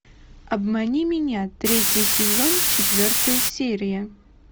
обмани меня третий сезон четвертая серия